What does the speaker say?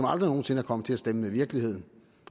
aldrig nogen sinde kommet til at stemme med virkeligheden